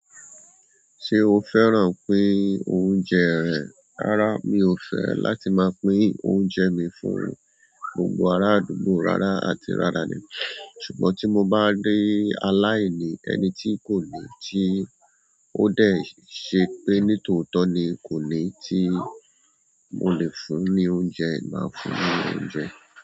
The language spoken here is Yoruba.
Ṣé o fẹ́ran pín oúnjẹ rẹ̀? Rárá, mi ò fẹ́ láti máa pín oúnjẹ mi fún gbogbo ará àdúgbò rárá àti rárá ni, ṣùgbọ́n tí mo bá rí aláìní ẹni tí kò ní tí ó dẹ̀ ṣe pé nítòótọ́ ni kò ní tí mo lè fún ní oúnjẹ, màá fún ní oúnjẹ.